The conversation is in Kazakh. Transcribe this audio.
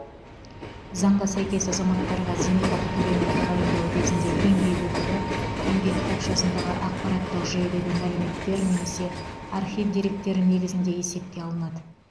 заңға сәйкес азаматтарға зейнетақы төлемін тағайындау кезінде еңбек өтілі еңбек кітапшасындағы ақпараттық жүйедегі мәліметтер немесе архив деректері негізінде есепке алынады